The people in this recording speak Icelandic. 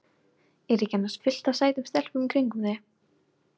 Er ekki annars fullt af sætum stelpum í kringum þig?